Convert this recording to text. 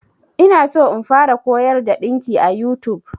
Ina so in fara koyar da ɗinki a YouTube.